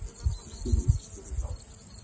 Danskur ritstjóri látinn